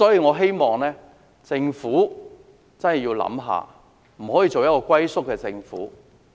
我希望政府認真思考，不應做一個龜縮的政府。